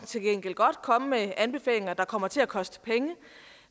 til gengæld godt komme med anbefalinger der kommer til at koste penge